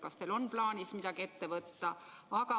Kas teil on plaanis midagi ette võtta?